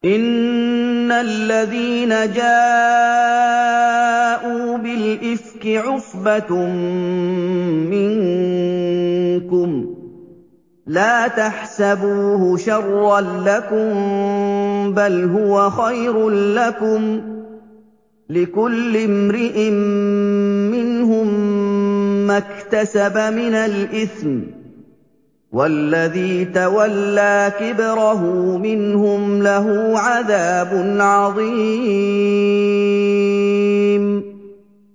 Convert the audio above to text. إِنَّ الَّذِينَ جَاءُوا بِالْإِفْكِ عُصْبَةٌ مِّنكُمْ ۚ لَا تَحْسَبُوهُ شَرًّا لَّكُم ۖ بَلْ هُوَ خَيْرٌ لَّكُمْ ۚ لِكُلِّ امْرِئٍ مِّنْهُم مَّا اكْتَسَبَ مِنَ الْإِثْمِ ۚ وَالَّذِي تَوَلَّىٰ كِبْرَهُ مِنْهُمْ لَهُ عَذَابٌ عَظِيمٌ